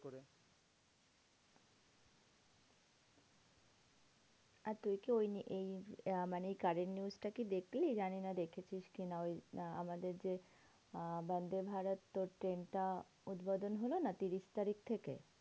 আর দেখে ওই এই মানে current news টা কি দেখলি? জানিনা দেখেছিস কি না? ওই আহ আমাদের যে আহ বন্দেভারত তোর ট্রেনটা উদ্বোধন হলো না তিরিশ তারিখ থেকে?